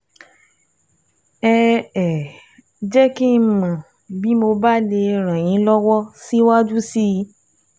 Ẹ um jẹ́ kí n mọ̀ bí mo bá lè ràn yín lọ́wọ́ síwájú sí i